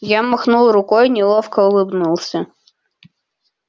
я махнул рукой неловко улыбнулся